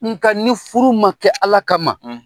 Nga ni furu ma kɛ Ala kama